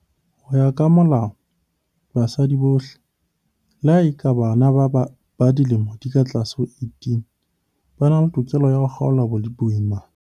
Ho ya ka Molao, basadi bohle, le ha e ka ba bana ba dilemo di ka tlase ho 18, ba na le tokelo ya ho kgaola boimana.